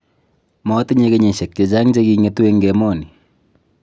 matinye kenyisiek chechang' che king'etu eng emoni